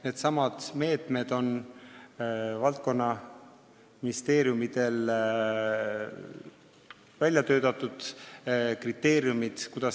Need meetmed ja kriteeriumid, kuidas raha jagada, on valdkonnaministeeriumidel välja töötatud.